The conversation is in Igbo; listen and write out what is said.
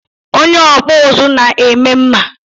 Onye okpu uzu na-eme mma